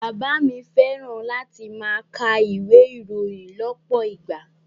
Bàbá mi fẹ́ràn láti máa ka ìwé ìròyìn lọ́pọ̀ ìgbà